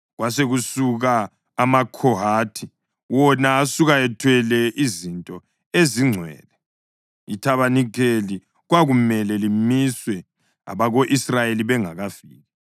Kwasekusuka amaKhohathi, wona asuka ethwele izinto ezingcwele. Ithabanikeli kwakumele limiswe abako-Israyeli bengakafiki.